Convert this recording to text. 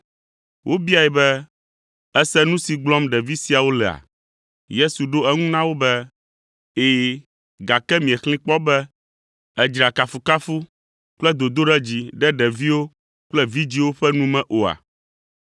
Wobiae be, “Èse nu si gblɔm ɖevi siawo lea?” Yesu ɖo eŋu na wo be, “Ɛ̃, gake miexlẽe kpɔ be, “ ‘Èdzra kafukafu kple dodoɖedzi ɖe ɖeviwo kple vidzĩwo ƒe nu me’ oa?”